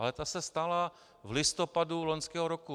Ale ta se stala v listopadu loňského roku.